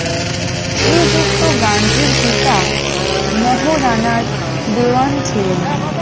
শ্রীযুক্ত গান্ধির পিতা মোহ রানার দেওয়ান ছিলেন ।